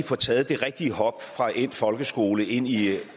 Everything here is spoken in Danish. får taget det rigtige hop fra endt folkeskole ind i